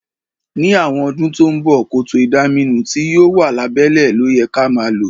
Ní àwon odún to n bo, kòtò ìdaminú ti yio wa lábẹ́lẹ́ lóyẹ ka ma lo